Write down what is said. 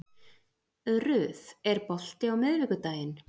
Ruth, er bolti á miðvikudaginn?